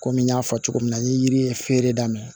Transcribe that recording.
Kɔmi n y'a fɔ cogo min na n ye yiri ye feere daminɛ